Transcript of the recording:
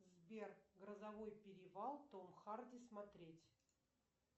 сбер грозовой перевал том харди смотреть